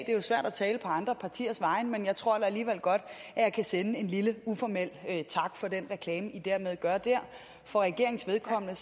er jo svært at tale på andre partiers vegne men jeg tror da alligevel godt at jeg kan sende en lille uformel tak for den reklame i hermed gør for regeringens vedkommende